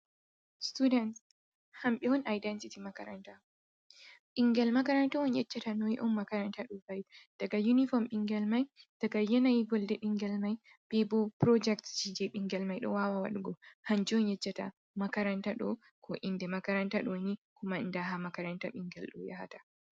Student hamɓe on identiti makaranta. Ɓingel makaranta on yeccata noy’on makaranta ɗo va'i. Daga unifom ɓingel mai daga yanayi volde ɓingel mai ɗen bo daga project ji je ɓingel mai ɗo wawa wadugo hanju on yeccata makaranta ɗo ko inde makaranta ɗo ni ko kuma nda ha makaranta ɓingel ɗo yahata.